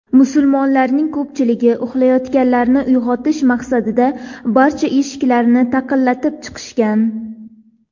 Musulmonlarning ko‘pchiligi uxlayotganlarni uyg‘otish maqsadida barcha eshiklarni taqillatib chiqishgan.